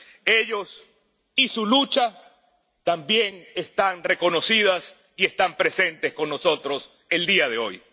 Ellos y su lucha también están reconocidos y están presentes con nosotros el día de hoy.